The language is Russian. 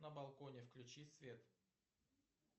на балконе включи свет